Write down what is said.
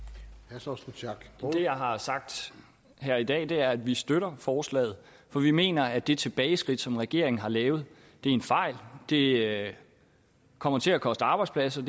jeg har sagt her i dag er at vi støtter forslaget for vi mener at det tilbageskridt som regeringen har lavet er en fejl det kommer til at koste arbejdspladser